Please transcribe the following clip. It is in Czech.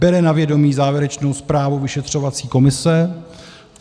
Bere na vědomí závěrečnou zprávu vyšetřovací komise.